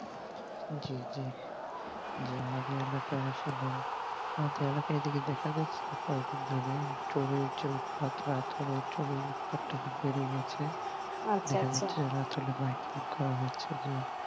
জি জি আমাদের এলাকা আসলে আমাদের এলাকার এদিকে দেখা যাই কদিন ধরে চোর আর চোর পাত্রা আতর এ চোরের উৎ পাতটা খুব বেড়ে গেছে হচ্ছে রাত হলেই biking করা হচ্ছে যে